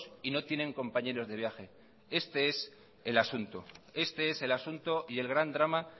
y no tienen compañeros de viaje este es el asunto y el gran drama